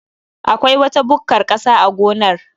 Akwai wata bukkar ƙasa a gonar